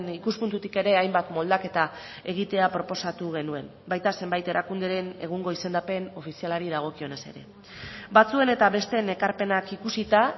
ikuspuntutik ere hainbat moldaketa egitea proposatu genuen baita zenbait erakunderen egungo izendapen ofizialari dagokionez ere batzuen eta besteen ekarpenak ikusita